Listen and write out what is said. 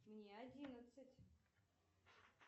мне одиннадцать